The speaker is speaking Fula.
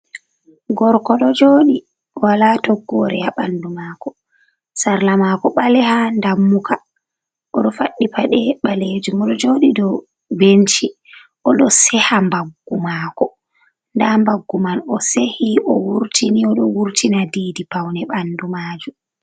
Gorko ɗo joɗi wala toggore ha bandu mako. Sarla mako ɓaleha dammuka oɗo faɗɗi paɗe ɓalejum, oɗo joɗi dou benchi o ɗo seha mbaggu mako, nda mbaggu man o sehi o wurtini oɗo wurtina diidi paune bandu majum.